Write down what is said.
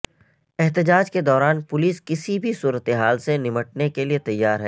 احتجاج کے دوران پولیس کسی بھی صورتحال سے نمٹنے کے لیے تیار ہے